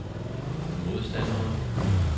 modstandere